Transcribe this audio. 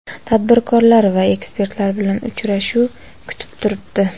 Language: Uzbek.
tadbirkorlar va ekspertlar bilan uchrashuv kutib turibdi.